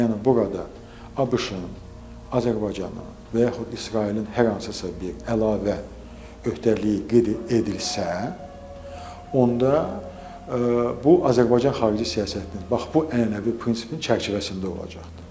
Yəni bu qədər ABŞ-ın, Azərbaycanın və yaxud İsrailin hər hansısa bir əlavə öhdəliyi qeyd edilsə, onda bu Azərbaycan xarici siyasətinin bax bu ənənəvi prinsipinin çərçivəsində olacaqdır.